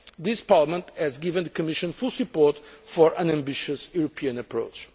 This Parliament has given the Commission full support for an ambitious European approach.